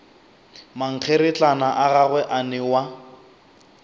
mankgeretlana a gagwe a newa